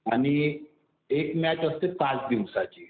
आणि एक मॅच असते पाच दिवसाची.